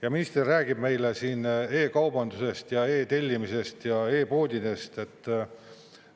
Ja minister räägib meile siin e-kaubandusest ja e-tellimisest ja e-poodidest!